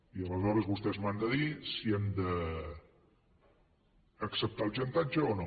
i aleshores vostès m’han de dir si hem d’acceptar el xantatge o no